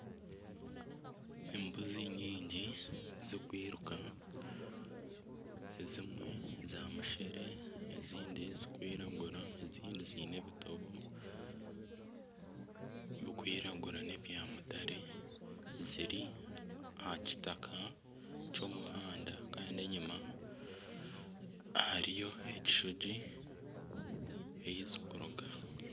Embuzi nyingi zikwiruka ezimwe za mushere ezindi zikwiragura ezindi ziine ebitobo bikwiragura n'ebyamutare ziri aha kitaka ky'omuhanda kandi enyima hariyo ekishugi eyi zikuruga.